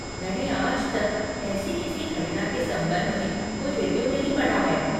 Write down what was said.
मैंने आज तक ऐसी किसी घटना के संबंध में कोई रिव्यू नहीं पढ़ा है।